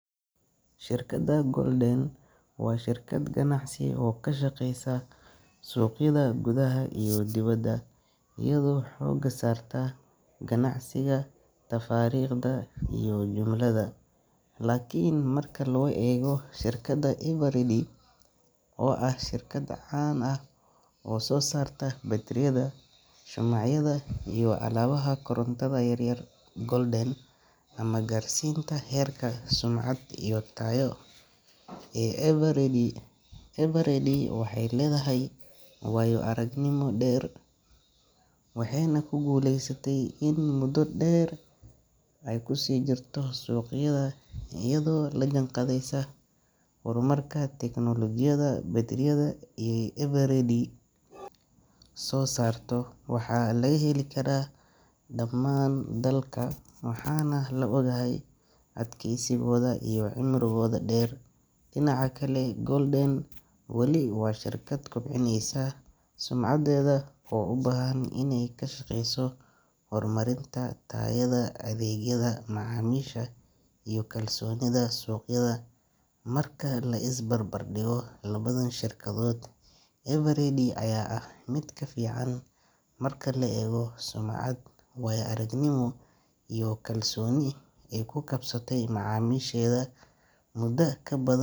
Shirkadda Golden waa shirkad ganacsi oo ka shaqeysa suuqyada gudaha iyo dibadda, iyadoo xoogga saarta ganacsiga tafaariiqda iyo jumlada. Laakiin marka loo eego shirkadda Eveready, oo ah shirkad caan ah oo soo saarta baytariyada, shumacyada, iyo alaabaha korontada yaryar, Golden ma gaarsiisna heerka sumcad iyo tayo ee Eveready. Eveready waxay leedahay waayo-aragnimo dheer, waxayna ku guuleysatay in muddo dheer ay ku sii jirto suuqyada iyadoo la jaanqaadaysa horumarka tignoolajiyadda. Baytariyada ay Eveready soo saarto waxaa laga heli karaa dhammaan dalka, waxaana la og yahay adkeysigooda iyo cimrigooda dheer. Dhinaca kale, Golden weli waa shirkad kobcinaysa sumcadeeda oo u baahan inay ka shaqeyso horumarinta tayada, adeegga macaamiisha iyo kalsoonida suuqyada. Marka la is barbar dhigo labadan shirkadood, Eveready ayaa ah mid ka fiican marka la eego sumcad, waayo-aragnimo, iyo kalsooni ay ku kasbatay macaamiisheeda muddo ka badan.